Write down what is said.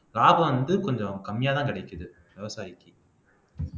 லாபம் வந்து கொஞ்சம் கம்மியாதான் கிடைக்குது விவசாயிக்கு